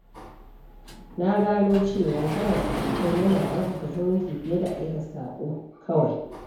Na gano cewa kiran abokai yana ƙarfafa zumunci fiye da aika saƙo kawai.